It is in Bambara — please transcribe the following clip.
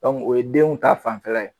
O ye denw ta fanfɛla ye